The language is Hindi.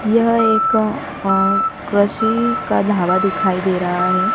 यह एक अह कृषि का ढाबा दिखाई दे रहा है।